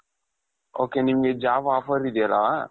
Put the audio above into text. ok ನಿಮ್ಗೆ job offers ಇದ್ಯಲ್ಲಾ ?